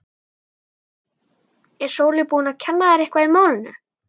Er Sóley búin að kenna þér eitthvað í málinu?